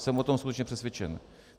Jsem o tom skutečně přesvědčen.